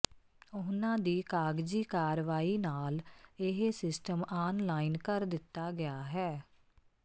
ਉਨ੍ਹਾਂ ਦੀ ਕਾਗਜੀ ਕਾਰਵਾਈ ਨਾਲ ਇਹ ਸਿਸਟਮ ਆਨ ਲਾਈਨ ਕਰ ਦਿੱਤਾ ਗਿਆ ਹੈ